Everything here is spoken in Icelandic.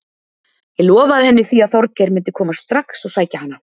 Ég lofaði henni því að Þorgeir myndi koma strax og sækja hana.